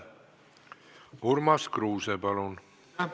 Urmas Kruuse, palun!